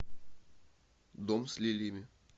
дом с лилиями